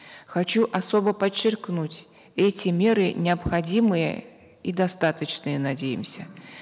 хочу особо подчеркнуть эти меры необходимые и достаточные надеемся